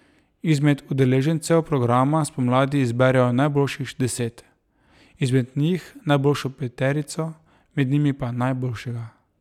Izmed udeležencev programa spomladi izberejo najboljših deset, izmed njih najboljšo peterico, med njimi pa najboljšega.